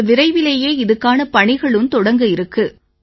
இப்ப விரைவிலேயே இதுக்கான பணிகளும் தொடங்க இருக்கு